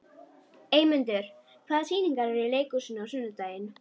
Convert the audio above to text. Eymundur, hvaða sýningar eru í leikhúsinu á sunnudaginn?